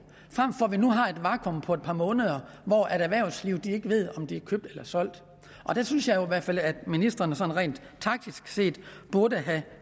frem for at vi nu har et vakuum på et par måneder hvor erhvervslivet ikke ved om de er købt eller solgt og der synes jeg jo i hvert fald at ministeren sådan rent taktisk set burde have